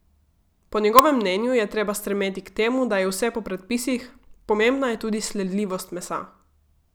Po njegovem mnenju je treba stremeti k temu, da je vse po predpisih, pomembna je tudi sledljivost mesa.